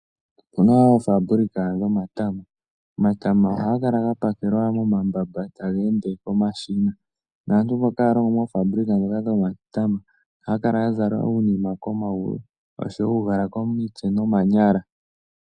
Opuna oofaabulika dhomatama. Omatama ohaga kala ga pakelwa momambamba taga ende komashina. Naantu mboka haya longo moofaabulika dhomatama ohaa kala ya zala uunima komayulu osho wo uugala komitse nomanyala.